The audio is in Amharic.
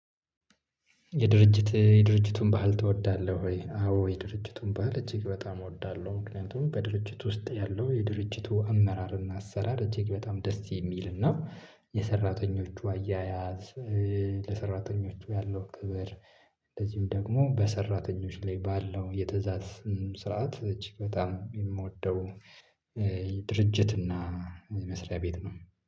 የድርጅት? የድርጅቱን ባህል ትወዳለህ ወይ አዎ የድርጅቱን ባህል እጅግ በጣም እወዳለሁ። ምክንያቱም በድርጅት ውስጥ ያለው የድርጅቱ አመራር እና አሰራር እጅግ በጣም ደስ የሚል እና የሰራተኞቹ አያያዝ ለሰራተኞቹ ያለው ክብር። እንደዚሁ ደግሞ በሰራተኞች ላይ ባለው የትእዛዝ ስርዓት እጅግ በጣም የምወደው። ድርጅት እና የመስሪያ ቤት ነው